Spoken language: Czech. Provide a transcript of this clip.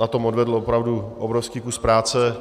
na tom odvedl opravdu obrovský kus práce.